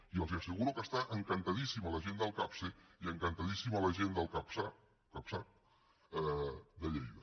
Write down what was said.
i els asseguro que està encantadíssima la gent del capse i encantadíssima la gent del casap de lleida